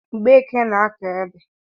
Mgbeke na-akọ ede